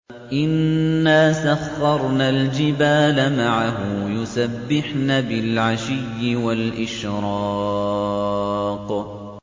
إِنَّا سَخَّرْنَا الْجِبَالَ مَعَهُ يُسَبِّحْنَ بِالْعَشِيِّ وَالْإِشْرَاقِ